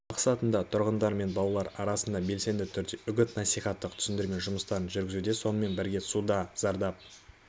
мақсатында тұрғындар мен балалар арасында белсенді түрде үгіт-насихаттық түсіндірме жұмыстарын жүргізуде сонымен бірге суда зардап